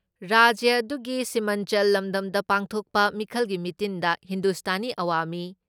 ꯔꯥꯖ꯭ꯌ ꯑꯗꯨꯒꯤ ꯁꯤꯃꯟꯆꯜ ꯂꯝꯗꯝꯗ ꯄꯥꯡꯊꯣꯛꯄ ꯃꯤꯈꯜꯒꯤ ꯃꯤꯇꯤꯟꯗ ꯍꯤꯟꯗꯨꯁꯇꯥꯅꯤ ꯑꯋꯥꯃꯤ